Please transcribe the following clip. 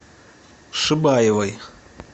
шибаевой